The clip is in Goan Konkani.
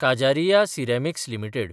Kajaria ceramics limited